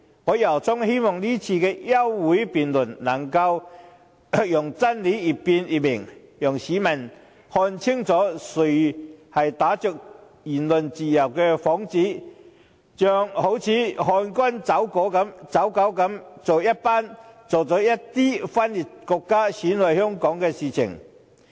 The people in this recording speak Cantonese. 我由衷希望今次的休會辯論，能讓真理越辯越明，讓市民看清楚是誰打着"言論自由"的幌子，像漢奸走狗一樣做着一些分裂國家、損害香港的事情。